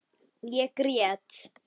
Ég grét.